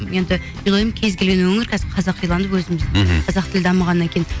енді мен ойлаймын кез келген өңір қазір қазақиланып өзіміз мхм қазақ тілі дамығаннан кейін